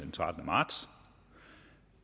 trettende marts